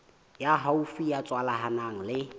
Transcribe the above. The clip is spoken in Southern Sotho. ya haufi ya tswalanang le